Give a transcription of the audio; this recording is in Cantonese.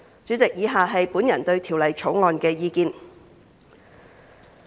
主席，以下是我對《條例草案》的意見。